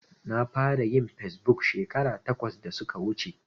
Na fara yin fesbuk shekara takwas da suka wuce.